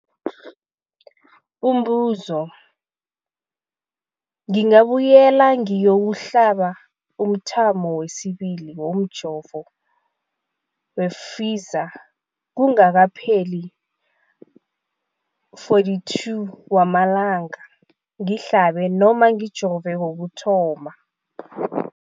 Umbuzo, ngingabuyela ngiyokuhlaba umthamo wesibili womjovo we-Pfizer kungakapheli ama-42 wamalanga ngihlabe, ngijove kokuthoma.